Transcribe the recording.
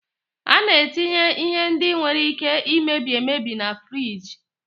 Ana etinye ihe ndị nwere Ike imebi emebi na furige.